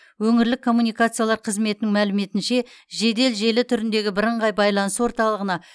өңірлік коммуникациялар қызметінің мәліметінше жедел желі түріндегі бірыңғай байланыс орталығына